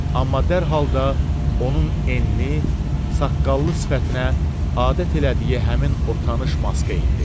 Amma dərhal da onun enli, saqqallı sifətinə adət elədiyi həmin o tanış maska indi.